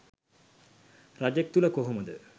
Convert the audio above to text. රජෙක් තුළ කොහොමද